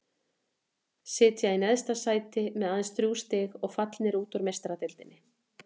Sitja í neðsta sæti með aðeins þrjú stig og fallnir út úr Meistaradeildinni.